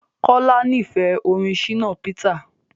Kola n'ifẹ orin Shina Peter.